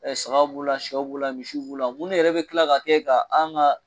sagaw b'o la siyɛw b'o la misiw b'o la minnu yɛrɛ bɛ tila ka kɛ ka an ka.